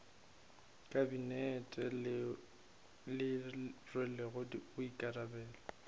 kabinete leo le rwelego boikarabelo